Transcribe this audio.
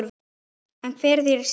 En hver er þín skoðun?